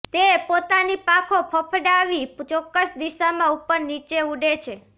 તે પોતાની પાંખો ફડફડાવી ચોક્કસ દિશામાં ઉપર નીચે ઊડે છે